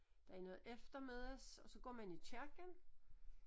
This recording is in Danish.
Der er noget eftermiddags og så går man i kirken